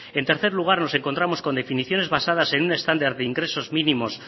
en tercer lugar nos encontramos con definiciones basadas en un estándar de ingresos mínimos